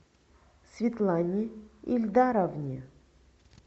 светлане ильдаровне